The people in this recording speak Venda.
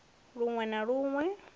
lun we na lun we